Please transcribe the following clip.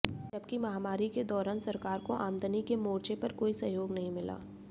जबकि महामारी के दौरान सरकार को आमदनी के मोर्चे पर कोई सहयोग नहीं मिला